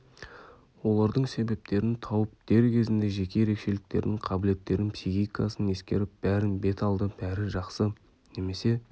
олардың себептерін тауып дер кезінде жеке ерекшеліктерін қабілеттерін психикасын ескеріп бәрін бет алды бәрі жақсы немесе